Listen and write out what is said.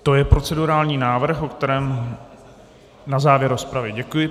To je procedurální návrh, o kterém... na závěr rozpravy, děkuji.